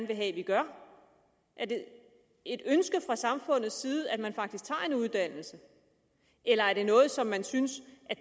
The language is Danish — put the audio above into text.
vil have at vi gør er det et ønske fra samfundets side at man faktisk tager en uddannelse eller er det noget som man synes